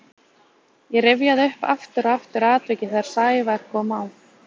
Ég rifjaði upp aftur og aftur atvikið þegar Sævar kom á